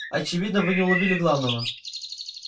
очевидно вы не уловили главного